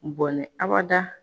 Bɔnnɛ abada